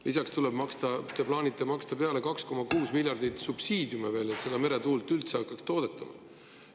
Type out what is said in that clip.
Lisaks plaanite te maksta 2,6 miljardit eurot subsiidiume, et meretuulest üldse hakataks tootma.